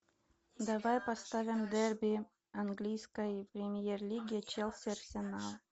давай поставим дерби английской премьер лиги челси арсенал